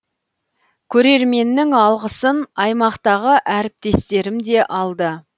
көрерменнің алғысын аймақтағы әріптестерім де алды